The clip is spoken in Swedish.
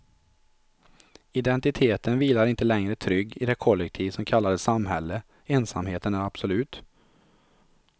Identiteten vilar inte längre trygg i det kollektiv som kallades samhälle, ensamheten är absolut.